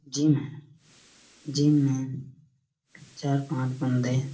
gym है gym में चार -पाँच बंदे--